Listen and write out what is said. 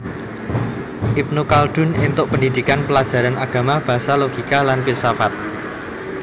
Ibnu Khaldun éntuk pendhidhikan plajaran agama basa logika lan filsafat